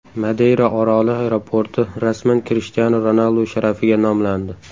Madeyra oroli aeroporti rasman Krishtianu Ronaldu sharafiga nomlandi.